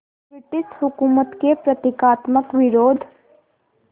British हुकूमत के प्रतीकात्मक विरोध